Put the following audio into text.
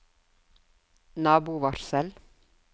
nabovarsel